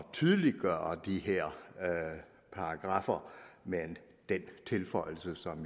tydeliggøre de her paragraffer med den tilføjelse som